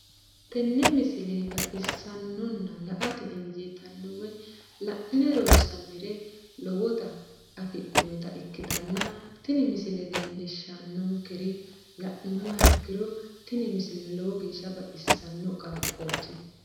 tenne misile baxisannonna la"ate injiitanno woy la'ne ronsannire lowote afidhinota ikkitanna tini leellishshannonkeri la'nummoha ikkiro tini misile lowo geeshsha baxisanno qaaqqooti.